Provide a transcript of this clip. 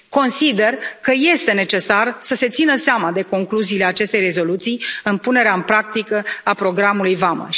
Consider că este necesar să se țină seama de concluziile acestei rezoluții în punerea în practică a programului Vamă.